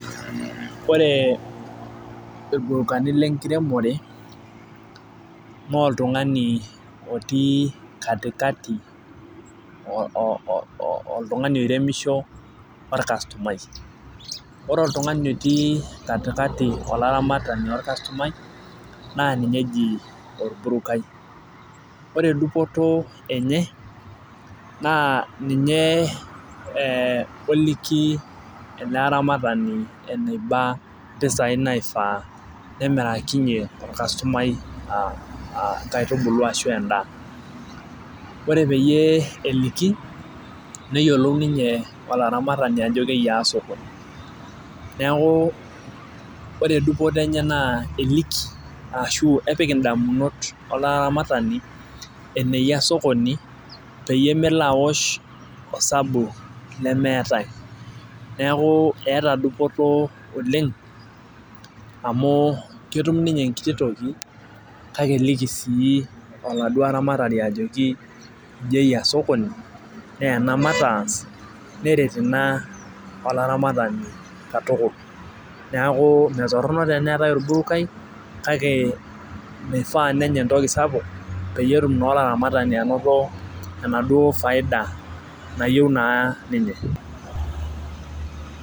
koree irburukani le nkiremoree naa oltungani otiii katikati oltungani oiremishoo ooorkastomai koree oltungani oiremishoo ahh olaramatani ookastumai naa ninye ejii orburokai koreee dupoto enye. naa ninye oliki ele aramatani enebaa mpisai naifaa pee mirikanyie orkastomai. nkaitubulu arashoo endaa koree peyie eliki neyiolou ninye olaramatani ajoo keyiaa osokoni niaku koree dupoto enyee naa eliki arasho kepiik indamunot olaramatani eneyiaa sokoni peeyie meloo awuoshh osabu lemeata mpisai neaku eetaa dupoto oleng amu ketuum ninye enekiti tooki kake kiliki siiid uo olaramatani ajoki ijii eyiaa sokoni naajii maatas neret ina olaramatani katukul niaku metoronok sii teniiatai olburokai kakee mifaaa siii penya entoki sapuk peeyie etum naa olaramatani anotoo enafaida nayioou naa ninye